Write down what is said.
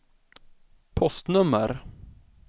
postnummer